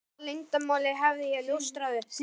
Hvaða leyndarmáli hafði ég ljóstrað upp?